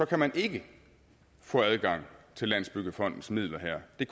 kan man ikke få adgang til landsbyggefondens midler her det